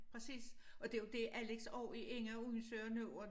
Præcis og det jo det Alex og Inge undersøger nu og